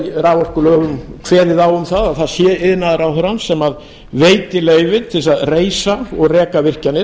raforkulögum kveðið á um að það sé iðnaðarráðherrann sem veiti leyfi til að reisa og reka virkjanir